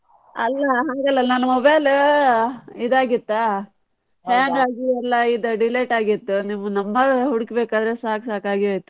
ಅಲ್ಲ ಹಾಗಲ್ಲ ನನ್ mobile ಇದ್ ಆಗಿತ್ತಾ, ಎಲ್ಲ ಇದ್ delete ಆಗಿತ್ತು ನಿಮ್ number ಹುಡುಕ್ ಬೇಕಾದ್ರೆ ಸಾಕ್ ಸಾಕಾಗಿ ಹೋಯ್ತು.